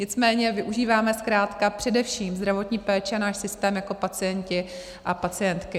Nicméně využíváme zkrátka především zdravotní péči a náš systém jako pacienti a pacientky.